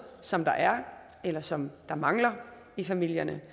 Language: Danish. som der er eller som mangler i familierne